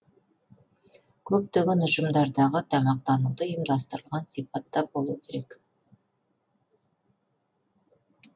көптеген ұжымдардағы тамақтануды ұйымдастырылған сипатта болуы керек